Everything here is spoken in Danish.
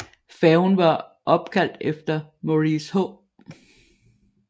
Færgen var opkaldt efter Maurice H